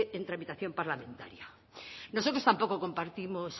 en tramitación parlamentaria nosotros tampoco compartimos